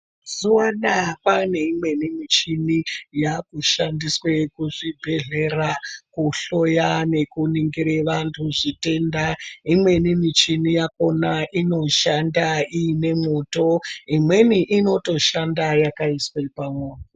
Mazuva anaa kwaaneimweni muchini yaakushandiswe kuzvibhedhlera kuhloya nekuningire vantu zvitenda. Imweni michini yakona inotoshanda iine mwoto. Imweni inotoshanda yakaiswe pamo...